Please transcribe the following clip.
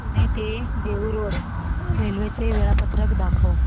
पुणे ते Dehu road railway चे वेळापत्रक दाखव